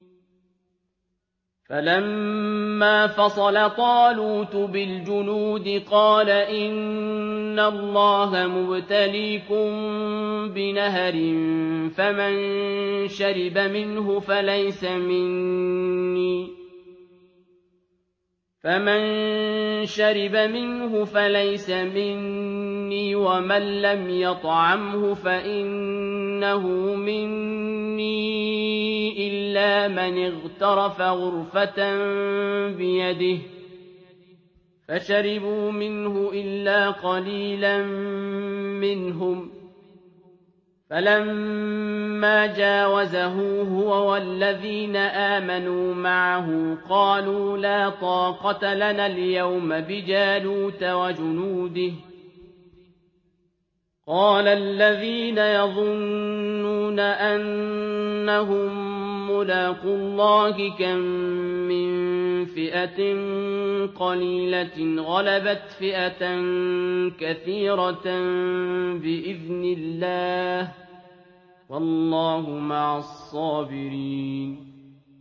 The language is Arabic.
فَلَمَّا فَصَلَ طَالُوتُ بِالْجُنُودِ قَالَ إِنَّ اللَّهَ مُبْتَلِيكُم بِنَهَرٍ فَمَن شَرِبَ مِنْهُ فَلَيْسَ مِنِّي وَمَن لَّمْ يَطْعَمْهُ فَإِنَّهُ مِنِّي إِلَّا مَنِ اغْتَرَفَ غُرْفَةً بِيَدِهِ ۚ فَشَرِبُوا مِنْهُ إِلَّا قَلِيلًا مِّنْهُمْ ۚ فَلَمَّا جَاوَزَهُ هُوَ وَالَّذِينَ آمَنُوا مَعَهُ قَالُوا لَا طَاقَةَ لَنَا الْيَوْمَ بِجَالُوتَ وَجُنُودِهِ ۚ قَالَ الَّذِينَ يَظُنُّونَ أَنَّهُم مُّلَاقُو اللَّهِ كَم مِّن فِئَةٍ قَلِيلَةٍ غَلَبَتْ فِئَةً كَثِيرَةً بِإِذْنِ اللَّهِ ۗ وَاللَّهُ مَعَ الصَّابِرِينَ